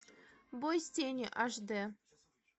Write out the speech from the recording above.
бой с тенью аш д